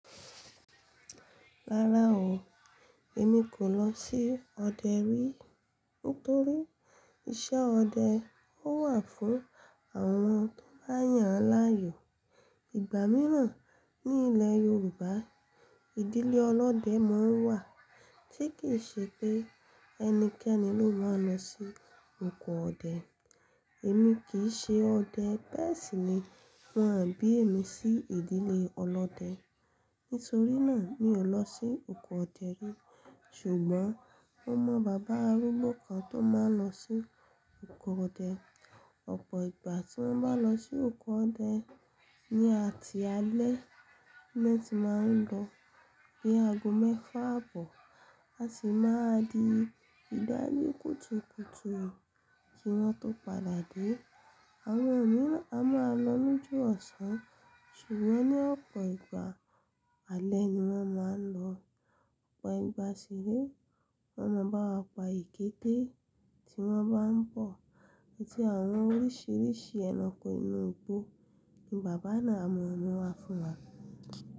Rárá o, èmi kò lọ sí ọdẹ rí. Nítorí iṣẹ́ ọdẹ ó wà fún àwọn tó máa yàn láàyò. Igba mìíràn ní ilè Yorùbá, ìdílé ọlọ́dẹ máa ń wà tí kì í ṣe pé ẹnikẹ́ni ló máa lọ sí oko ọdẹ. Èmi kì í ṣe ọdẹ bẹ́ẹ̀ sì ni wọ́n à bí mi sí ìdílé ọlọ́dẹ. Nítorí náà mi ò lọ sí oko ọdẹ rí. Ṣùgbọ́n mo mọ bàbá arúgbó kan tó máa ń lọ sí oko ọdẹ. Ọ̀pọ̀ ìgbà tí wọ́n bá lọ sí oko ọdẹ, ní ati alẹ́ ni wọ́n ti máa ń lọ bí ago mẹ́fà bọ́, a sì máa di ìdajì kùtùkùtù kí wọ́n tó padà dé. Àwọn mi a máa lọ lójoọ̀sán ṣùgbọ́n ní ọ̀pọ̀ ìgbà alẹ́ ni wọ́n máa ń lọ. Ọ̀pọ̀ ìgbà sì rí wọ́n mọ bá wa pa èkéte tí wọ́n bá ń bọ̀ àti àwọn oríṣìíríṣìí ẹranko inú igbó nì bàbá náà mọ̀ mí wá fún wa.